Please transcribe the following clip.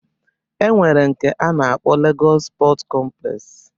E nwere nke a na-akpọ Legọs Pọt kọmplex